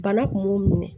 Bana kun m'u minɛ